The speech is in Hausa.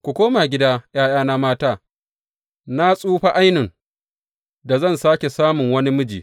Ku koma gida ’ya’yana mata; na tsufa ainun da zan sāke samun wani miji.